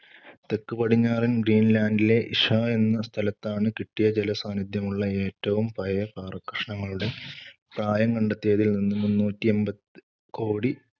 തെക്കുപടിഞ്ഞാറൻ ഗ്രീൻലാൻഡിലെ ഇഷ്വ എന്ന സ്ഥലത്താണ് കിട്ടിയ ജലസാന്നിദ്ധ്യമുള്ള ഏറ്റവും പഴയ പാറക്കഷണങ്ങളുടെ പ്രായം കണ്ടെത്തിയതിൽ നിന്ന് മുന്നൂറ്റി എമ്പത്‌ കോടി